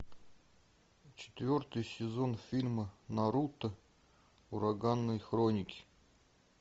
четвертый сезон фильма наруто ураганные хроники